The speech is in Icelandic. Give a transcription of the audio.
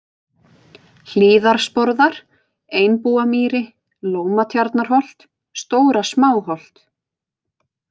Hlíðarsporðar, Einbúamýri, Lómatjarnarholt, Stóra-Smáholt